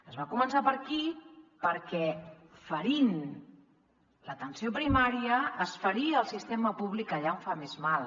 es va començar per aquí perquè ferint l’atenció primària es feria el sistema públic allà on fa més mal